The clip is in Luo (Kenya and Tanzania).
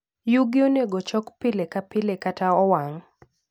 Yugi onego ochok pile ka pile kata owang'.